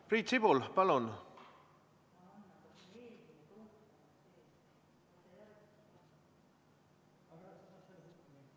Priit Sibul, palun!